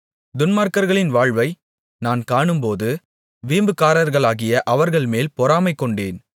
துன்மார்க்கர்களின் வாழ்வை நான் காணும்போது வீம்புக்காரர்களாகிய அவர்கள்மேல் பொறாமை கொண்டேன்